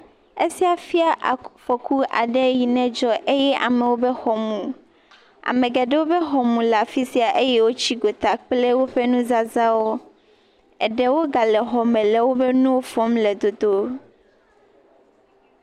Esia fia afɔku aɖe yi ne dzɔ eye amewo ƒe mu. A,me geɖewo ƒe xɔ mu le afi sia eye wotsi gota kple woƒe nuzazãawo. Eɖewo gale xɔme le woƒe nuwo fɔm le dodom.